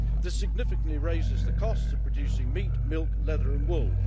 This significantly raises the costs of producing meat, milk leather and wool.